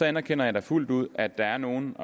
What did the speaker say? anerkender da fuldt ud at der er nogle